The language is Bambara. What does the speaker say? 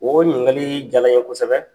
O ɲininkali jala n ye kosɛbɛ